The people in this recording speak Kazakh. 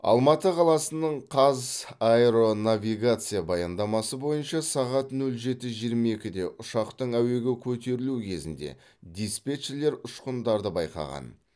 алматы қаласының қазаэронавигация баяндамасы бойынша сағат нөл жеті жиырма екіде ұшақтың әуеге көтерілуі кезінде диспетчерлер ұшқындарды байқаған